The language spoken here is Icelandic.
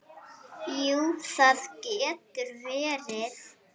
Jú, það getur verið.